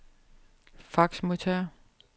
faxmodtager